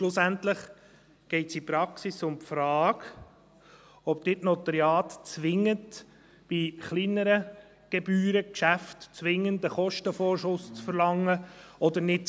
Schlussendlich geht es in der Praxis um die Frage, ob Notariate bei kleineren Gebührengeschäften zwingend einen Kostenvorschuss verlangen oder nicht.